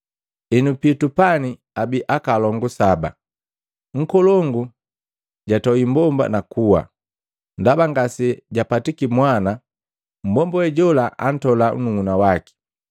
Henu, pitu pani abii akalongu saba. Nkolongu jatoi mmbomba nakuwa, ndaba ngasejapatiki mwana, mbomba we jola antola nnuhuna waki.